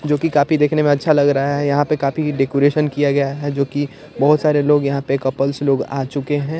जोकि कापी देखने में अच्छा लग रहा है यहाँ पे काफी डेकोरेशन किया गया है जोकि बहोत सारे लोग यहाँ पे कपल्स लोग आ चुके हैं।